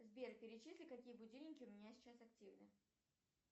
сбер перечисли какие будильники у меня сейчас активны